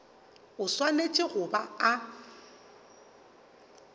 o swanetše go ba a